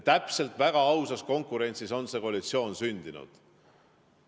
Väga ausas konkurentsis on see koalitsioon sündinud.